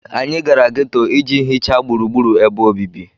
Anyị gara geto iji hichaa gburugburu ebe obibi